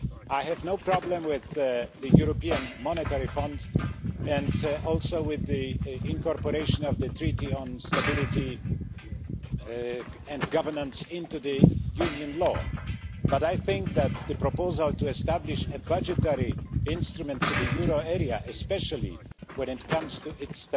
I have no problem with the European Monetary Fund or with the incorporation of the Treaty on Stability, Coordination and Governance into Union law, but I think that the proposal to establish a budgetary instrument for the euro area, especially when it comes to its